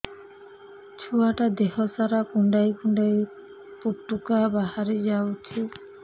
ଛୁଆ ଟା ଦେହ ସାରା କୁଣ୍ଡାଇ କୁଣ୍ଡାଇ ପୁଟୁକା ବାହାରି ଯାଉଛି